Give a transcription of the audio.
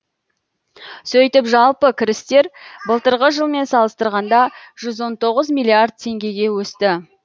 сөйтіп жалпы кірістер былтырғы жылмен салыстырғанда жүз он тоғыз миллиард теңгеге өсті